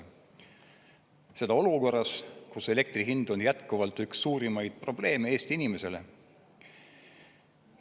Ja seda olukorras, kus elektri hind on jätkuvalt üks suurimaid probleeme Eesti inimesele.